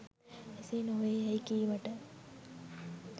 එසේ නොවේ යැයි කීමට